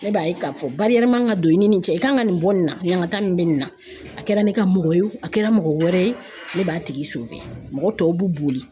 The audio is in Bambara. Ne b'a ye k'a fɔ man ka don i ni nin cɛ i kan ka nin bɔ nin na ɲankata nin bɛ nin na a kɛra ne ka mɔgɔ ye o, a kɛra mɔgɔ wɛrɛ ye, ne b'a tigi , mɔgɔ tɔw b'u boli .